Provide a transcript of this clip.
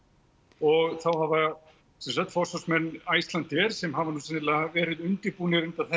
og þá hafa sem sagt forsvarsmenn Icelandair sem hafa sennilega verið undirbúnir undir að